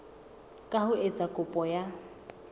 ka ho etsa kopo ya